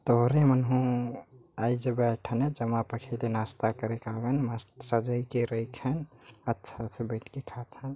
तोहर मन हु आई जा बैठ न जमा पखेरे नाश्ता करे आवन मस्त सजइ के रखन अच्छा से बैठ के खात हन--